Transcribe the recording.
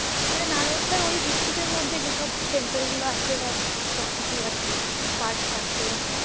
নালন্দার ঐ district এর মধ্যে যে temple গুলো আছে সবকিছু আরর্কি park park গুলো।